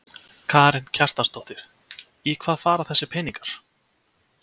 Karen Kjartansdóttir: Í hvað fara þessir peningar?